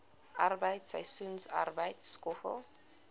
arbeid seisoensarbeid skoffel